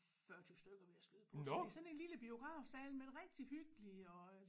40 20 stykker vil jeg skyde på så det er sådan en lille biografsal men rigtig hyggelig og